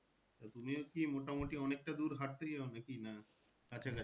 তুমিও কি মোটামুটি অনেকটা দূর হাঁটতে যাওয়া নাকি না কাছাকাছি?